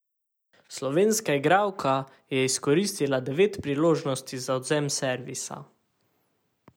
Slovenska igralka je izkoristila devet priložnosti za odvzem servisa.